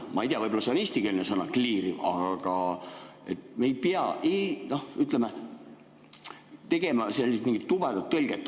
Ma ei tea, võib-olla see on eestikeelne sõna, "kliiriv", aga me ei pea tegema mingit tobedat tõlget.